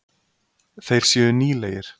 Þeir séu nýlegir.